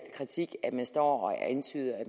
kritik at man står og antyder at